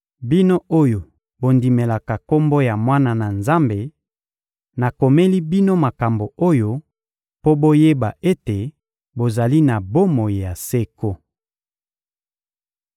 Bino oyo bondimelaka Kombo ya Mwana na Nzambe, nakomeli bino makambo oyo mpo boyeba ete bozali na bomoi ya seko.